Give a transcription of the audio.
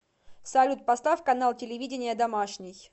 салют поставь канал телевидения домашний